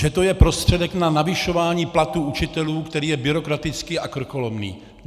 Že to je prostředek na navyšování platů učitelů, který je byrokratický a krkolomný.